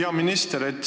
Hea minister!